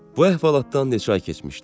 Bu əhvalatdan neçə ay keçmişdi?